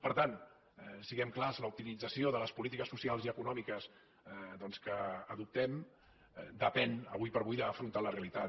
per tant siguem clars l’optimització de les polítiques socials i econòmiques doncs que adoptem depèn ara com ara d’afrontar la realitat